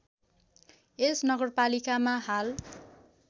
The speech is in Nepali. यस नगरपालिकामा हाल